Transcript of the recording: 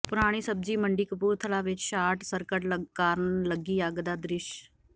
ਪੁਰਾਣੀ ਸਬਜ਼ੀ ਮੰਡੀ ਕਪੂਰਥਲਾ ਵਿੱਚ ਸ਼ਾਰਟ ਸਰਕਟ ਕਾਰਨ ਲੱਗੀ ਅੱਗ ਦਾ ਦਿਸ਼